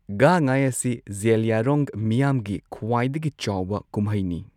ꯒꯥꯟ ꯉꯥꯏ ꯑꯁꯤ ꯖꯦꯂꯤꯌꯥꯡꯔꯣꯡ ꯃꯤꯌꯥꯝꯒꯤ ꯈ꯭ꯋꯥꯏꯗꯒꯤ ꯆꯥꯎꯕ ꯀꯨꯝꯍꯩꯅꯤ꯫